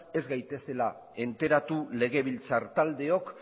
ez gaitezela enteratu legebiltzar taldeok